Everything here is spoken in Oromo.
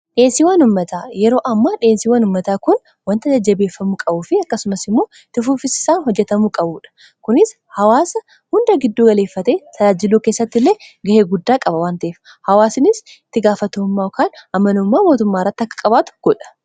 dhiyeesiiwan ummataa yeroo amma dhiyeesiiwan ummataa kun wanta jajjabeeffamu qabuu fi akkasumas immoo itti fuufiinsaan hojjatamuu qabuudha. kunis hawaasa hunda gidduu galeeffate talaajiluu keessatti illee ga'ee guddaa qaba wanteef hawaasinis itti gaafatamuma kan amanummaa mootummaa irratti akka qabaatu godha.